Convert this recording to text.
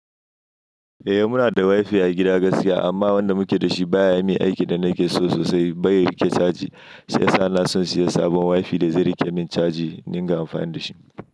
Eh muna da wifi a gida gaskiya amma wanda muke da shi baya yi aikin da nake so sosai, baya rike caji. Shiyasa na son siyan sabon wifi da zai rike min caji niga amfani da shi.